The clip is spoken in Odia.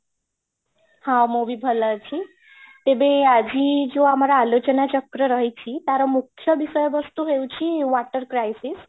ହଁ, ମୁଁ ବି ଭଲ ଅଛି ତେବେ ଆଜି ଯୋଉ ଆମର ଆଲୋଚନା ଚକ୍ର ରହିଛି ତାର ମୁଖ୍ୟ ବିଷୟ ବସ୍ତୁ ହଉଛି, water crisis